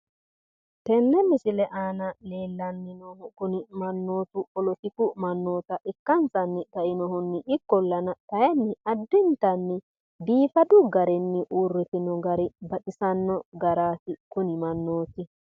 Tenne misile aana leellanni noohu kuni mannootu polotikku mannoota ikkansanni kainohunni, ikkollana kaayiinni biifadu garinni uurritino gari baxisanno garaati. kuni mannooti.